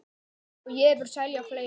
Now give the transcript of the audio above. Og ég vil selja fleira.